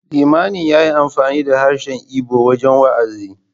Limamin ya yi amfani da harshen Igbo wajen wa’azi.